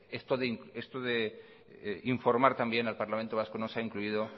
esto de informar también al parlamento vasco no se ha incluido